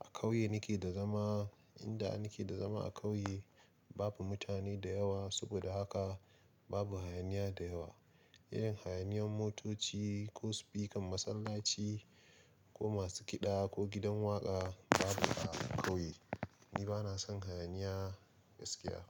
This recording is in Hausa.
A ƙauye nike da zama, inda nike da zama a ƙauye babu mutane da yawa saboda haka babu hayaniya da yawa. Irin hayaniyan motoci ko sufikan masallaci ko masu kiɗa ko gidan waƙa babu a ƙauye. Ni bana son hayaniya gaskiya.